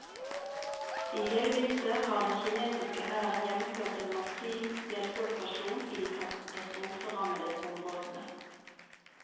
I hele vinter har den kinesiske hæren gjennomført en massiv hjelpeoperasjon i de katastroferammede områdene.